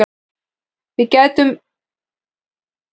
Við ætlum að sækja eins mörg stig og við getum.